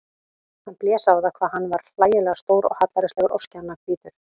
Hann blés á það hvað hann var hlægilega stór og hallærislegur og skjannahvítur.